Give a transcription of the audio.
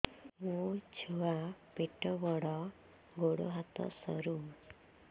ମୋ ଛୁଆ ପେଟ ବଡ଼ ଗୋଡ଼ ହାତ ସରୁ